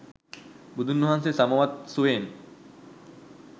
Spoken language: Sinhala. බුදුන් වහන්සේ සමවත් සුවයෙන්